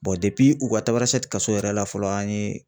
u ka Tamasɛti kaso yɛrɛ la fɔlɔ an ye